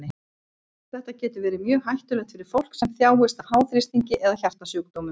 Þetta getur verið mjög hættulegt fyrir fólk sem þjáist af háþrýstingi eða hjartasjúkdómum.